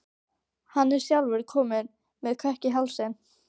Hann er sjálfur kominn með kökk í hálsinn.